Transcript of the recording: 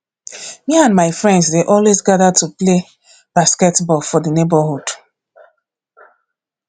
me and my friends dey always gather to play play basketball for the neighborhood